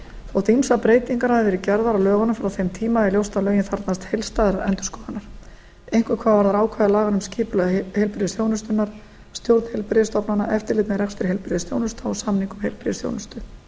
þótt ýmsar breytingar hafi verið gerðar á lögunum frá þeim tíma er ljóst að lögin þarfnast heildstæðrar endurskoðunar einkum hvað varðar ákvæði laganna um skipulag heilbrigðisþjónustunnar stjórn heilbrigðisstofnana eftirlit með rekstri heilbrigðisþjónustu og samninga um heilbrigðisþjónustu